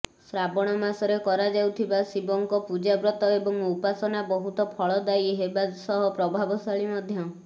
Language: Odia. ଶ୍ରାବଣ ମାସରେ କରାଯାଉଥିବା ଶିବଙ୍କ ପୂଜା ବ୍ରତ ଏବଂ ଉପାସନା ବହୁତ ଫଳଦାୟୀ ହେବା ସହ ପ୍ରଭାବଶାଳୀ ମଧ୍ୟ